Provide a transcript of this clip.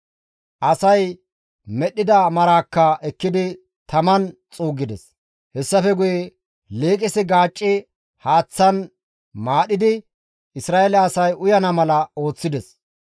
Asay medhdhida maraakka ekkidi taman xuuggides; hessafe guye liiqisi gaacci haaththan maadhidi Isra7eele asay uyana mala ooththides.